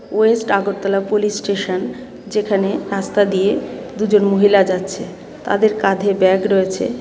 West Agartala police station যেখানে রাস্তা দিয়ে দুজন মহিলা যাচ্ছে তাদের কাঁধে ব্যাগ রয়েছে.